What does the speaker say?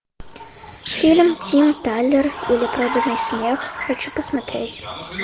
фильм тим талер или проданный смех хочу посмотреть